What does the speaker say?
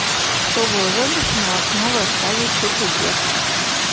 что было выброшено в окно в рассказе чук и гек